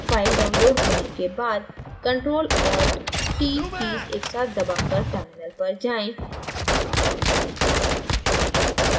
file downloaded होने के बाद ctrl + alt + t कीज़ एकसाथ दबाकर terminal पर जाएँ